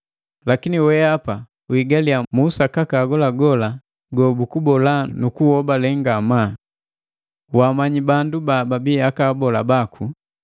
Lakini wehapa uhigaliya mu usakaka agolagola gobukubola nu kuuhobale ngamaa. Waamanyi bandu bababi aka abola baku,